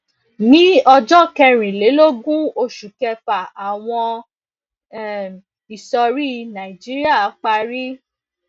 ní ọjọ kẹrìnlélógún oṣù kẹfà àwọn um ìsọrí nàìjíríà parí